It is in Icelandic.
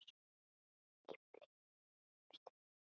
Í blíðu sem stríðu.